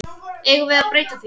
Eigum við að breyta því?